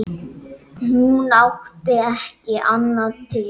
Hún átti ekki annað til.